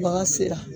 Bagan sera